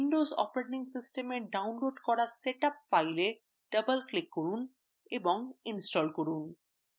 windows operating সিস্টেমএ download করা setup file double click করুন এবং install করুন